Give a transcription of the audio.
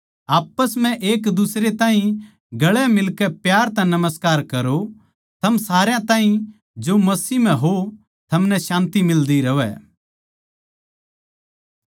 आप्पस म्ह एकदुसरे ताहीं गले मिलकै प्यार तै नमस्कार करो थम सारया ताहीं जो मसीह म्ह हो थमनै शान्ति मिलदी रहवै